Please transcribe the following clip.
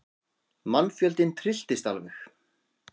Mannfjöldinn trylltist alveg.